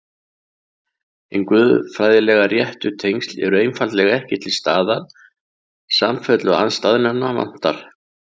Hin guðfræðilega réttu tengsl eru einfaldlega ekki til staðar, samfellu andstæðnanna vantar.